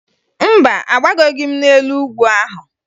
Mba, agbagoghi m n'elu ugwu ahụ